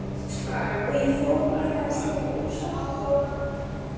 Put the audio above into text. Og ég fór meira að segja úr sokkunum.